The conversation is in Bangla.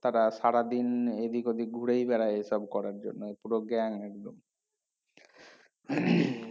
তারা সারাদিন উম এদিক ওদিক ঘুরেই বেড়ায় এসব করার জন্য পুরো gang একদম